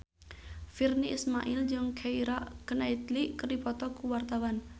Virnie Ismail jeung Keira Knightley keur dipoto ku wartawan